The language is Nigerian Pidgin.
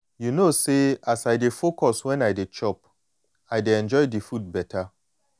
you know say as i dey focus when i dey chop i de enjoy di food beta.